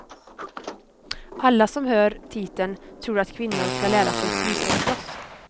Alla som hör titeln tror att kvinnor ska lära sig skrika och slåss.